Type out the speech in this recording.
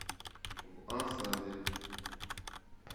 в осаде